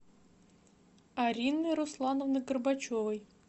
арины руслановны горбачевой